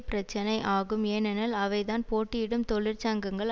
பிரச்சினை ஆகும் ஏனெனில் அவைதான் போட்டியிடும் தொழிற்சங்கங்கள்